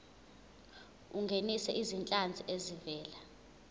ungenise izinhlanzi ezivela